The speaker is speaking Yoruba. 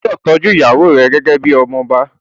Ó gbúdọ̀ tọ́jú ìyàwó rẹ gẹ́gẹ́ bíi ọmọ ọba.